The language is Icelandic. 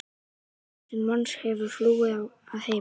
Eitt þúsund manns hefur flúið að heiman.